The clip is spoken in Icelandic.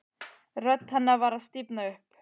Rödd hennar var að stífna upp.